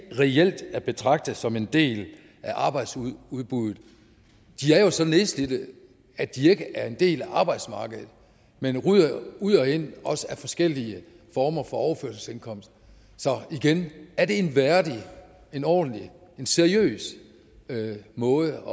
reelt er at betragte som en del af arbejdsudbuddet de er jo så nedslidt at de ikke er en del af arbejdsmarkedet men ryger ud og ind af forskellige former for overførselsindkomst så igen er det en værdig en ordentlig en seriøs måde